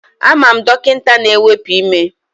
Ama m dọkịta na-ewepu ime